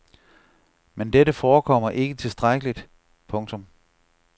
Men dette forekommer ikke tilstrækkeligt. punktum